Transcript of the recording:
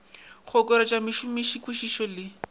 go okeletša mošomiši kwišišo le